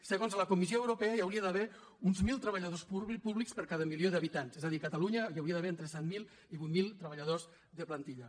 segons la comissió europea hi hauria d’haver uns mil treballadors públics per cada milió d’habitants és a dir a catalunya hi hauria d’haver entre set mil i vuit mil treballadors de plantilla